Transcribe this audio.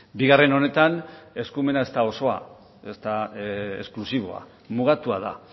bigarren honetan eskumena ez da osoa ez da esklusiboa mugatua da